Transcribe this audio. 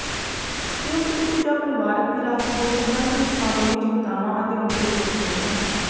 ਸੰਯੁਕਤ ਵਿੱਤ ਜਾਂ ਪਰਿਵਾਰਕ ਵਿਰਾਸਤ ਦੇ ਸੰਬੰਧ ਵਿੱਚ ਮਾਮੂਲੀ ਚਿੰਤਾਵਾਂ ਅਤੇ ਮੁੱਦੇ ਹੋ ਸਕਦੇ ਹਨ